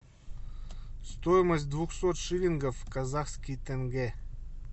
стоимость двухсот шиллингов в казахский тенге